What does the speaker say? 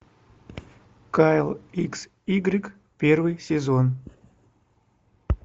кайл икс игрек первый сезон